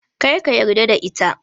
Kar ka yarda da ita.